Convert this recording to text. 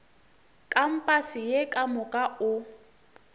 kampase ye ka moka o